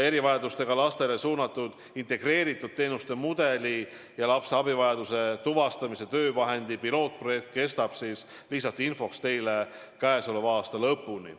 Erivajadustega lastele suunatud integreeritud teenuste mudeli ja lapse abivajaduse tuvastamise töövahendi pilootprojekt kestab – lihtsalt infoks teile – käesoleva aasta lõpuni.